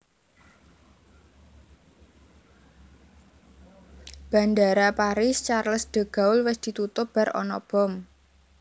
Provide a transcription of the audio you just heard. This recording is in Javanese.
Bandara Paris Charles de Gaulle wis ditutup bar ono bom